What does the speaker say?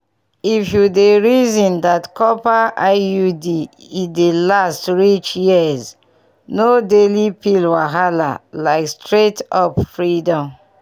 if you dey reason that copper iud e dey last reach yearsno daily pill wahala like straight-up freedom!